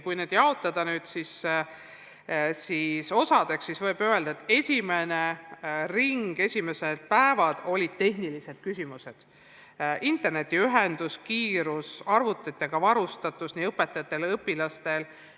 Kui need osadeks jaotada, siis võib öelda, et esimeses ringis, esimestel päevadel olid päevakorras tehnilised küsimused: internetiühendus, selle kiirus, arvutitega varustatus nii õpetajate kui ka õpilaste hulgas.